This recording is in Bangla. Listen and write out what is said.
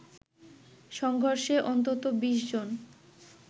সংঘর্ষে অন্তত ২০ জন